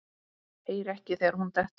Heyri ekki þegar hún dettur.